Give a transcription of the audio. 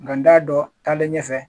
Nka n t'a dɔn taale ɲɛfɛ